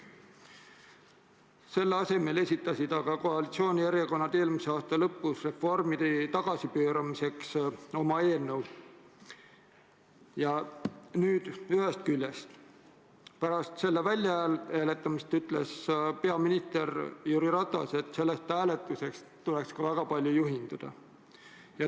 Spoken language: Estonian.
Selle asemel esitasid aga koalitsioonierakonnad eelmise aasta lõpus reformide tagasipööramiseks oma eelnõu ja pärast selle väljahääletamist ütles peaminister Jüri Ratas, et sellest hääletusest tuleks ka väga palju juhinduda.